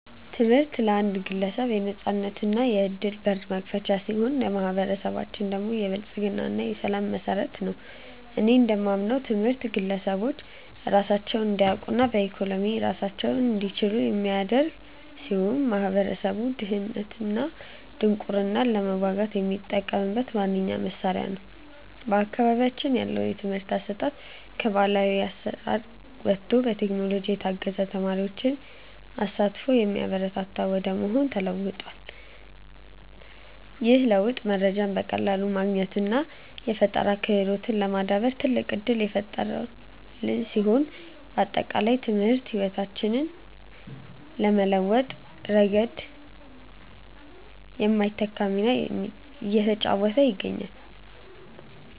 ትምህርት ለአንድ ግለሰብ የነፃነትና የዕድል በር መክፈቻ ሲሆን፣ ለማኅበረሰባችን ደግሞ የብልጽግና እና የሰላም መሠረት ነው። እኔ እንደማምነው ትምህርት ግለሰቦች ራሳቸውን እንዲያውቁና በኢኮኖሚ ራሳቸውን እንዲችሉ የሚያደርግ ሲሆን፣ ማኅበረሰቡም ድህነትንና ድንቁርናን ለመዋጋት የሚጠቀምበት ዋነኛው መሣሪያ ነው። በአካባቢያችን ያለው የትምህርት አሰጣጥም ከባሕላዊ አሠራር ወጥቶ በቴክኖሎጂ የታገዘና የተማሪዎችን ተሳትፎ የሚያበረታታ ወደ መሆን ተለውጧል። ይህ ለውጥ መረጃን በቀላሉ ለማግኘትና የፈጠራ ክህሎትን ለማዳበር ትልቅ ዕድል የፈጠረልን ሲሆን፣ ባጠቃላይ ትምህርት ሕይወታችንን በመለወጥ ረገድ የማይተካ ሚና እየተጫወተ ይገኛል።